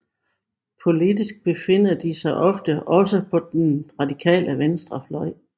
Politisk befinder de sig ofte også på den radikale venstrefløj